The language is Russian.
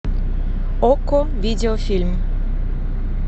окко видеофильм